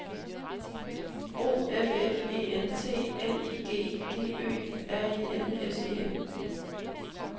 O F F E N T L I G G Ø R E L S E N